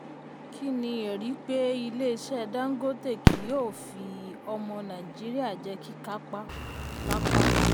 kí ni ẹ̀rí pé ilé-iṣẹ́ dangote kì yóò fi ọmọ nàìjíríà jẹ́ kíkápá-kápá?